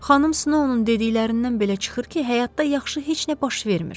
Xanım Snow onun dediklərindən belə çıxır ki, həyatda yaxşı heç nə baş vermir.